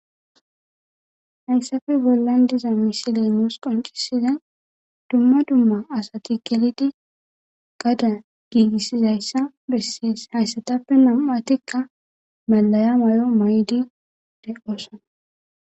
Hayssafe bollan diza misilemoos qoncisiza dumma dumma asati gelidi gada giigissizayssa bessies hayssatappe nam'atikka malaya mayo ma'y'di de'osana.